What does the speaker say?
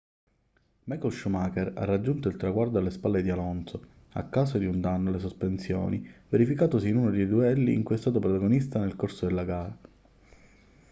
michael schumacher ha raggiunto il traguardo alle spalle di alonso a causa di un danno alle sospensioni verificatosi in uno dei duelli di cui è stato protagonista nel corso della gara